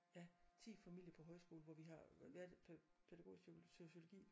Ja 10 familier på højskole hvor vi har været pædagogisk sociogi